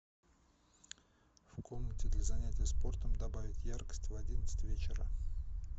в комнате для занятия спортом добавить яркость в одиннадцать вечера